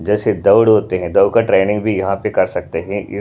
जैसे दौड़ होते हैं दौड़ का ट्रेनिंग भी यहाँ पे कर सकते हैं।